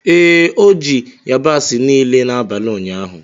Ee, o ji yabasị niile n'abalị ụnyaahụ.